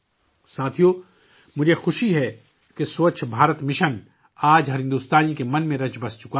ساتھیو ، مجھے خوشی ہے کہ 'سووچھ بھارت مشن' آج ہر بھارتی کے ذہن میں رچ بس چکا ہے